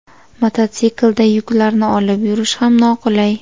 Motosiklda yuklarni olib yurish ham noqulay.